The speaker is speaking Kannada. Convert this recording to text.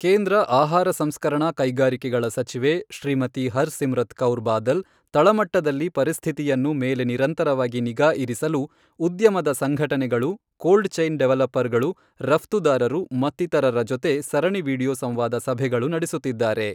ಕೇಂದ್ರ ಆಹಾರ ಸಂಸ್ಕರಣಾ ಕೈಗಾರಿಕೆಗಳ ಸಚಿವೆ ಶ್ರೀಮತಿ ಹರ್ ಸಿಮ್ರತ್ ಕೌರ್ ಬಾದಲ್, ತಳಮಟ್ಟದಲ್ಲಿ ಪರಿಸ್ಥಿತಿಯನ್ನು ಮೇಲೆ ನಿರಂತರವಾಗಿ ನಿಗಾಇರಿಸಲು ಉದ್ಯಮದ ಸಂಘಟನೆಗಳು, ಕೋಲ್ಡ್ ಚೈನ್ ಡೆವಲಪರ್ ಗಳು, ರಫ್ತುದಾರರು ಮತ್ತಿತರರ ಜೊತೆ ಸರಣಿ ವಿಡಿಯೋ ಸಂವಾದ ಸಭೆಗಳು ನಡೆಸುತ್ತಿದ್ದಾರೆ.